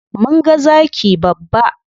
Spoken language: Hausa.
Mun ga zaki babba.